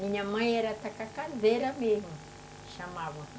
Minha mãe era tacacazeira mesmo, chamava.